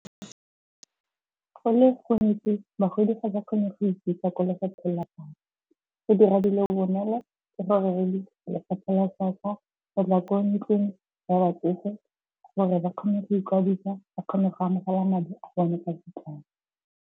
Go le gontsi bagodi ga ba kgone go ikisa kwa lefapheng la pholo. Go dira dilo bonolo lefapha la pholo go tla ko ntlong ya batsofe gore ba kgone go ikwadisa ba kgone go amogela madi a bone .